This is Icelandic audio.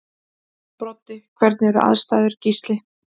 Broddi: Hvernig eru aðstæður Gísli?